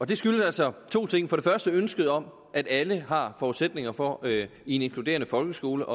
det skyldes altså to ting for det første ønsket om at alle har forudsætninger for i en inkluderende folkeskole